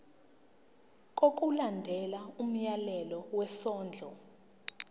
ngokulandela umyalelo wesondlo